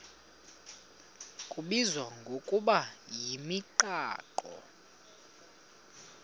kubizwa ngokuba yimigaqo